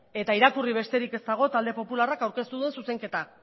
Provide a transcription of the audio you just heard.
eta irakurri besterik ez dago talde popularrak aurkeztu duen zuzenketa